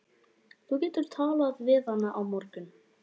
Þú getur talað við hana á morgun.